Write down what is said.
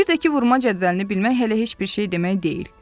Bir də ki, vurma cədvəlini bilmək hələ heç bir şey demək deyil.